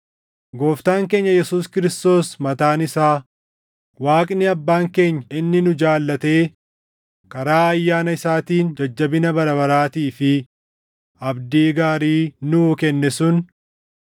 Gooftaan keenya Yesuus Kiristoos mataan isaa, Waaqni Abbaan keenya inni nu jaallatee karaa ayyaana isaatiin jajjabina bara baraatii fi abdii gaarii nuu kenne sun,